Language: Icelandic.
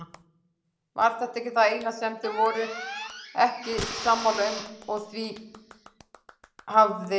Var þetta það eina sem þau voru ekki sammála um og því hafði